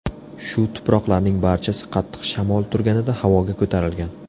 Shu tuproqlarning barchasi qattiq shamol turganida havoga ko‘tarilgan.